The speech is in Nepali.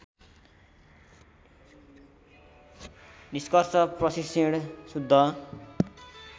निष्कर्ष प्रशिक्षण शुद्ध